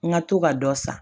N ka to ka dɔ san